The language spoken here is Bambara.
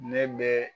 Ne bɛ